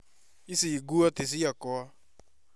Ici nguo ti ciakwa